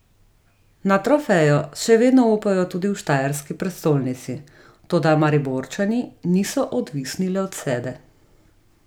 Na trofejo še vedno upajo tudi v štajerski prestolnici, toda Mariborčani niso odvisni le od sebe.